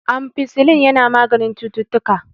ampicillin yana maganin ctuttuka